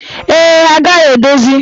Ee, ha agaghị edozi.